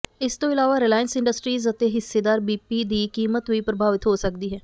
ਇਸ ਤੋਂ ਇਲਾਵਾ ਰਿਲਾਇੰਸ ਇੰਡਸਟਰੀਜ ਅਤੇ ਹਿੱਸੇਦਾਰ ਬੀਪੀ ਦੀ ਕੀਮਤ ਵੀ ਪ੍ਰਭਾਵਿਤ ਹੋ ਸਕਦੀ ਹੈ